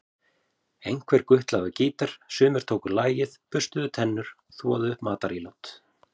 Einhver gutlaði á gítar, sumir tóku lagið, burstuðu tennur, þvoðu upp matarílát.